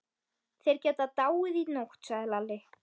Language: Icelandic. Þeir geta dáið í nótt, sagði Lalli.